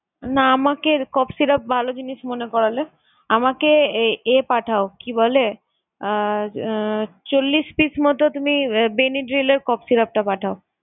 না আমাকে syrup ভালো জিনিস মনে করালে। আমাকে আহ এ পাঠাও কি বলে? আহ আহ চল্লিশ পিস মতো তুমি আহ benadryl এর syrup টা পাঠাও।